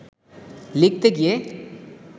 লিখতে গিয়ে